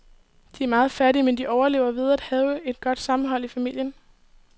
De er meget fattige, men de overlever ved at have et godt sammenhold i familien.